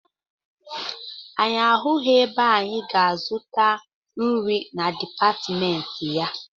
Anyị ahụghị ebe anyị ga-azụta nri na dipatịmentị ya.